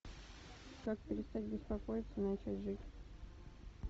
как перестать беспокоится и начать жить